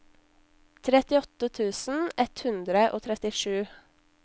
trettiåtte tusen ett hundre og trettisju